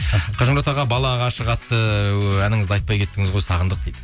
қажымұрат аға бала ғашық атты әніңізді айтпай кеттіңіз ғой сағындық дейді